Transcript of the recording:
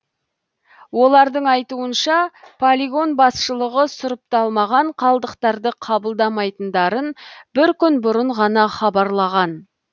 олардың айтуынша полигон басшылығы сұрыпталмаған қалдықтарды қабылдайматындарын бір күн бұрын ғана хабарлаған